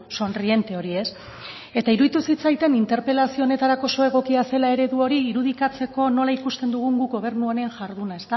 sonriente hori eta iruditu zitzaidan interpelazio honetarako oso egokia zela eredu hori irudikatzeko nola ikusten dugun guk gobernu honen jarduna